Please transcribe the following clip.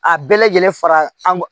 A bɛɛ lajɛlen fara an